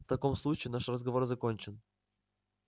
в таком случае наш разговор закончен